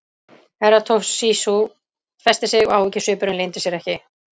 Herra Toshizo festi sig og áhyggjusvipurinn leyndi sér ekki.